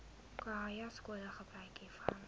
khanyaskole gebruik hiervan